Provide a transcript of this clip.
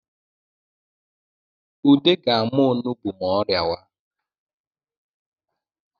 Ude ga-ama onugbu ma ọ rịawa